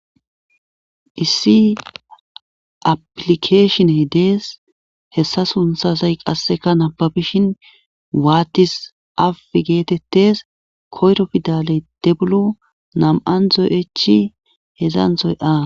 issi aplikeeshiney dees hessa sunthasay qasseka nababishin waattis a geetettes koyro fidaley debulu nam7an zoy7echi hedzanthoy a